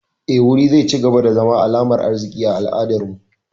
Eh, wuri zai cigaba da zama alamar arziki a al'adar mu